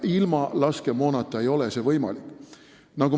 Ilma laskemoonata ei ole see võimalik.